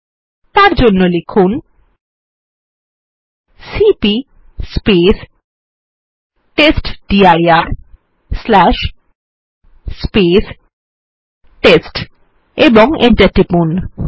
তার জন্য লিখুন সিপি টেস্টডির টেস্ট ও এন্টার টিপুন